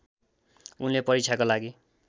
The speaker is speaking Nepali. उनले परीक्षाको लागि